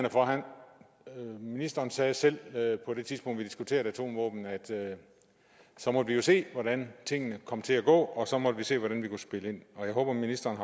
ministeren sagde selv på det tidspunkt hvor vi diskuterede atomvåben at så måtte vi jo se hvordan tingene kom til at gå og så måtte vi se hvordan vi kunne spille ind og jeg håber ministeren